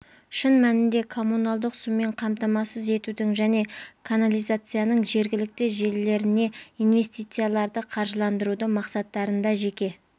шын мәнінде коммуналдық сумен қамтамасыз етудің және канализацияның жергілікті желілеріне инвестицияларды қаржыландыру мақсаттарында жеке